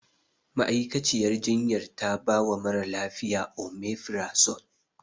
Ma'aikaciyar jinyar ta bawa mara lafiya. Omefirazol.